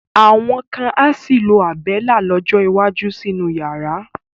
Àwọn kan á sì lo Àbẹ́lá lọ́jọ́ iwájú sínú yàrá.